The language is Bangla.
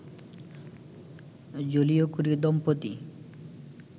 জোলিও কুরি দম্পতি